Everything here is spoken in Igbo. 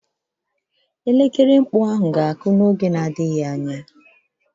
Elekere mkpu ahụ ga-akụ n'oge na-adịghị anya.